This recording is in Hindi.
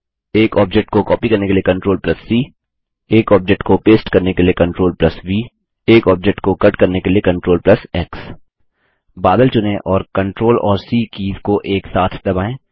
एक ऑब्जेक्ट को कॉपी करने के लिए CTRLC एक ऑब्जेक्ट को पेस्ट करने के लिए CTRLV एक ऑब्जेक्ट को कटी करने के लिए CTRLX बादल चुनें और CTRL और सी कीज़ को एक साथ दबाएँ